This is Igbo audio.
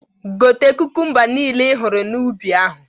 Gote kukumba nile ihụrụ n'ubi ahụ!